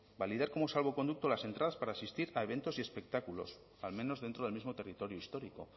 validar como salvoconducto las entradas para asistir a eventos y espectáculos al menos dentro del mismo territorio histórico